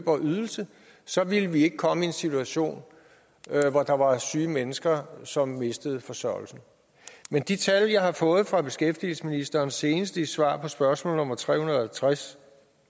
og ydelse så ville vi ikke komme i en situation hvor der var syge mennesker som mistede forsørgelsen men de tal jeg har fået fra beskæftigelsesministeren senest i et svar på spørgsmål nummer tre hundrede og halvtreds